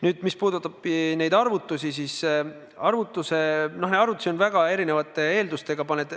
Nüüd, mis puudutab neid arvutusi, siis arvutusi tehakse väga erinevate eeldustega.